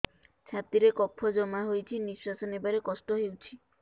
ଛାତିରେ କଫ ଜମା ହୋଇଛି ନିଶ୍ୱାସ ନେବାରେ କଷ୍ଟ ହେଉଛି